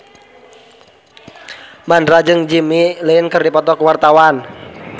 Mandra jeung Jimmy Lin keur dipoto ku wartawan